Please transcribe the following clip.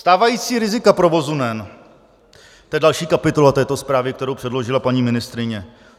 Stávající rizika provozu NEN - to je další kapitola této zprávy, kterou předložila paní ministryně.